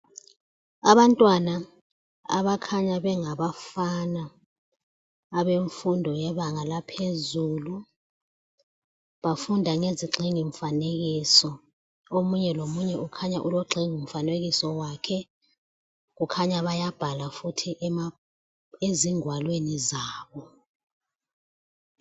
Abantwana abakhanya bengabafana abemfundo yebanga laphezulu bafunda ngezigxingi mfanekiso, omunye lomunye ukhanya ulogxingi mfanekiso wakhe kukhanya bayabhala futhi ezingwalweni zabo.